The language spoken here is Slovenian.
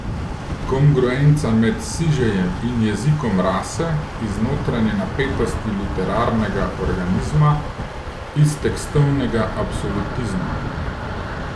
Kongruenca med sižejem in jezikom rase iz notranje napetosti literarnega organizma, iz tekstovnega absolutizma.